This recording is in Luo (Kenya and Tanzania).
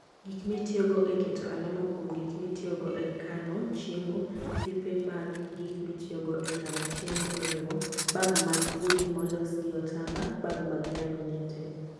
Gik mitiyogo e keto alama kuom gik mitiyogo e kano chiemo, Tipe mag gik mitiyogo e kano chiemo oriwo: Bag mag gunny molos gi otamba, bag mag laminated.